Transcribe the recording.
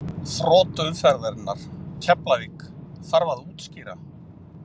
Þrot umferðarinnar: Keflavík Þarf að útskýra?